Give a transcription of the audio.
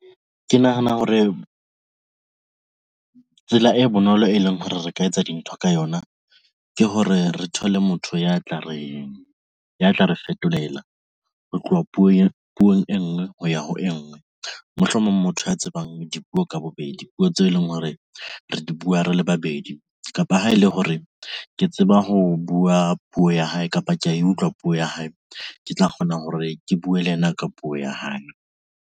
Ke nahana hore tsela e bonolo, e leng hore re ka etsa dintho ka yona, ke hore re thole motho ya tla re ya tla re fetolela ho tloha puong e ngwe ho ya ho e ngwe. Mohlomong motho a tsebang dipuo ka bobedi puo tseo e leng hore re di bua re ile babedi kapa ha ele hore ke tseba ho bua puo ya hae kapa ke ya e utlwa puo ya hae, ke tla kgona hore ke buwe le yena ka puo ya hae,